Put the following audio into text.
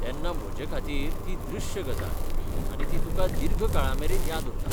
तेन्ना म्हजेखातीर ती दृश्य गजाल, आनी ती तुका दीर्घ काळामेरेन याद उरता.